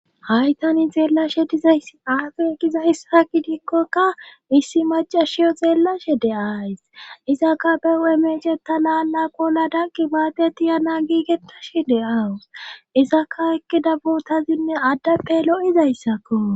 Haytani xeellashe dizayss aafe gizahssa gidikkokka issi macashiyo xeellashe de7ays izaka be wemecheta laala qola danqi baadeti yana giigettashe de7awus izaka ekkidabutazinne addappe lo7izayssakko.